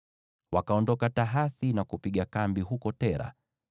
Wakaondoka Tahathi na kupiga kambi huko Tera.